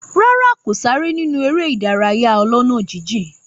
Rárá, kò sáré nínú eré ìdárayá ọlọ́nà jíjìn